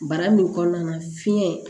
Bara min kɔnɔna na fiɲɛ